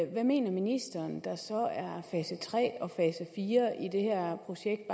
hvad mener ministeren så er fase tre og fase fire i det her projekt